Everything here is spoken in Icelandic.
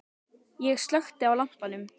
Ég slökkti á lampanum.